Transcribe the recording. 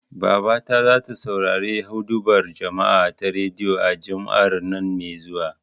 Babata zata saurari huɗubar juma'a ta rediyo, a Juma'ar nan me zuwa.